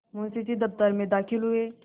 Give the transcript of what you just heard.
मुंशी जी दफ्तर में दाखिल हुए